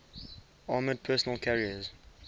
armored personnel carriers